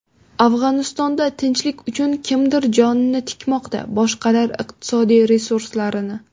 Afg‘onistonda tinchlik uchun kimdir jonini tikmoqda, boshqalar iqtisodiy resurslarini.